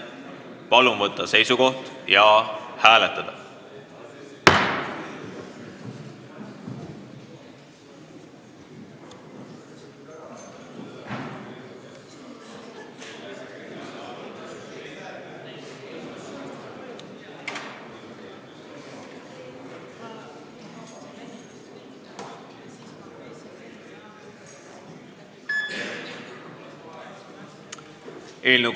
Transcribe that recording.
Palun võtta seisukoht ja hääletada!